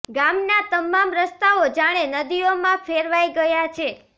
ગામ ના તમામ રસ્તાઓ જાણે નદીઓ માં ફેરવાઈ ગયા છે